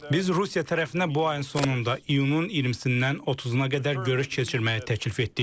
Biz Rusiya tərəfinə bu ayın sonunda, iyunun 20-dən 30-a qədər görüş keçirməyi təklif etdik.